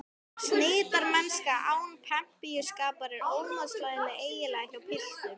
Snyrtimennska án pempíuskapar er ómótstæðilegur eiginleiki hjá piltum.